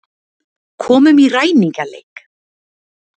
Komum í ræningjaleik.